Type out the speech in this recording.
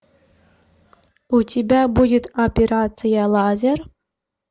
у тебя будет операция лазер